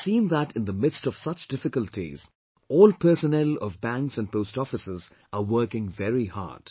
And I have seen that in the midst of such difficulties, all personnel of banks and post offices are working very hard